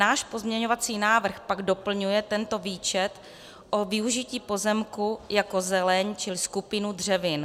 Náš pozměňovací návrh pak doplňuje tento výčet o využití pozemku jako zeleň či skupinu dřevin.